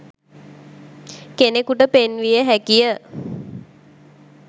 කෙනෙකුට පෙන්විය හැකි ය